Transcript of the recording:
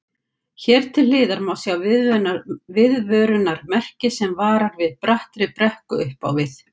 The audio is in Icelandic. Hér til hliðar má sjá viðvörunarmerki sem varar við brattri brekku upp á við.